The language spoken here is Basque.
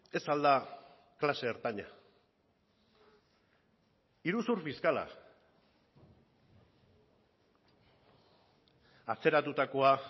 ez al da klase ertaina iruzur fiskala atzeratutakoa